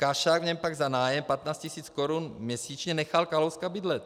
Kašák v něm pak za nájem 15 tisíc korun měsíčně nechal Kalouska bydlet.